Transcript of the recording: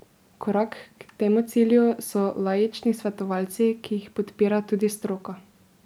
Korak k temu cilju so laični svetovalci, ki jih podpira tudi stroka.